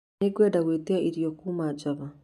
Nĩ ngwenda ngwitia irio kuuma Java